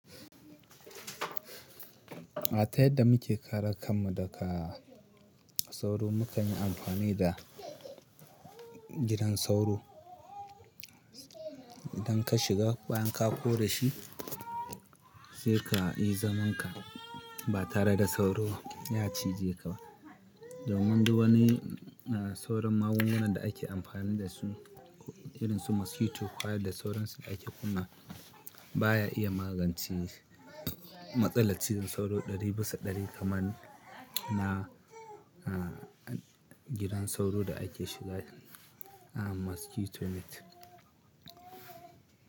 A ta yadda muke kare kanmu daga sauro, mu kan yi amfani da gidan sauro. Idan ka shiga bayan ka kora shi, sai ka yi zamanka ba tare da sauro ya cije ka ba. Domin duk wani sauran magungunan da ake amfani da su irin su mosquito coil da sauransu ake kunna baya iya magance matsalar cizon sauro ɗari bisa ɗari kaman na gidan sauro da ake shiga, ah mosquito net.